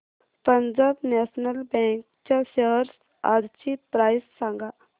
Punjab National Bank च्या shares आजची price सांगा